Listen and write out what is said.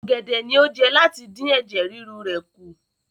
Ọ̀gẹ̀dẹ̀ ni ó jẹ láti dín ẹ̀jẹ̀ ríru rẹ̀ kù.